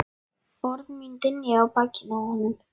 Orð mín dynja á bakinu á honum.